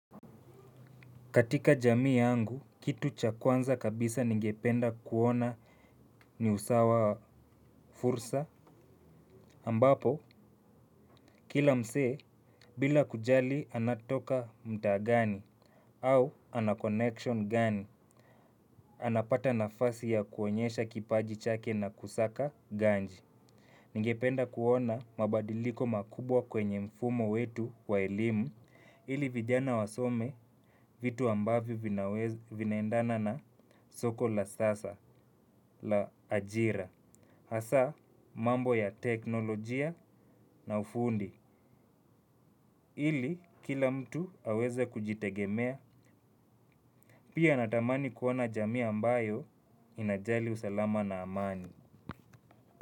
Katika jamii yangu, kitu cha kwanza kabisa ningependa kuona ni usawa wa fursa, ambapo kila msee, bila kujali anatoka mta ngani, au anakonection ngani, anapata nafasi ya kuonyesha kipaji chake na kusaka ganji. Ningependa kuona mabadiliko makubwa kwenye mfumo wetu wa elimu, ili vijana wasome vitu ambavyo vinaendana na soko la sasa, la ajira. Hasa mambo ya teknolojia na ufundi, ili kila mtu aweze kujitegemea. Pia natamani kuona jamii ambayo inajali usalama na amani.